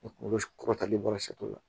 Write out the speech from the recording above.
kɔrɔtalen bɔra la